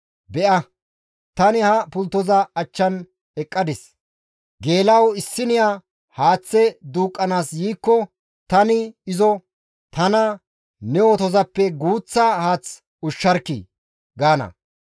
Be7a; tani ha pulttoza achchan eqqadis; geela7o issiniya haaththe duuqqanaas yiikko tani izo, ‹Tana ne otozappe guuththa haath ushsharkkii!› gaana.